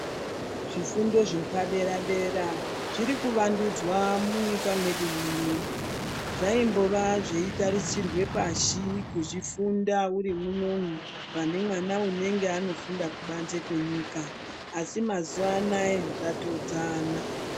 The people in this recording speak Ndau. Zvifundo zvepa dera dera zviri kuwandudzwa munyika mwedu muno zvaimbova zvei tarisirwe pashi kuzvi funda uri munomu pane mwana unenge ano funda kubanze kwe nyika asi mazuva anaya zva todzana.